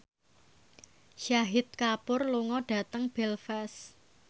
Shahid Kapoor lunga dhateng Belfast